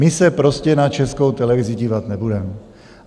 My se prostě na Českou televizi dívat nebudeme.